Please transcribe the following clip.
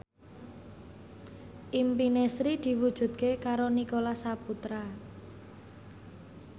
impine Sri diwujudke karo Nicholas Saputra